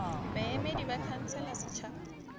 baemedi ba khansele ya setšhaba